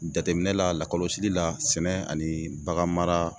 Jateminɛ la lakɔlɔsili la sɛnɛ ani baganmara